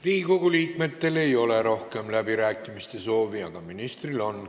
Riigikogu liikmetel ei ole rohkem läbirääkimiste soovi, aga ministril on.